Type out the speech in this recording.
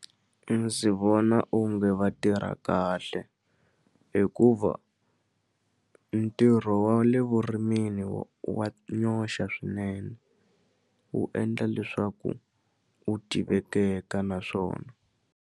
Ndzi vona onge va tirha kahle hikuva ntirho wa le vurimini wa nyoxa swinene wu endla leswaku wu tivekeka naswona.